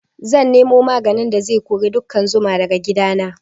Zan nemo maganin da zai kori ƙudan zuma daga gidana